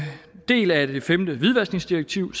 del af det femte hvidvaskningsdirektiv